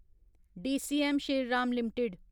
DCM Shriram limited